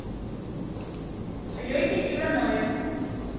лехе иванове